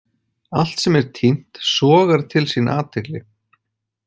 Allt sem er týnt sogar til sín athygli.